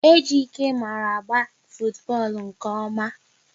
Ejike mara agba futubọọlụ nke ọma